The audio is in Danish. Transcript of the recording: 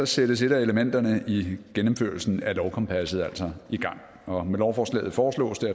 sættes et af elementerne i gennemførelsen af lovkompasset altså i gang og med lovforslaget foreslås det